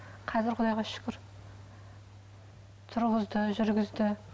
қазір құдайға шүкір тұрғызды жүргізді